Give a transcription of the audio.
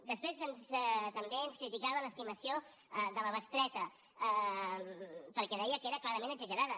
després també ens criticava l’estimació de la bestreta perquè deia que era clarament exagerada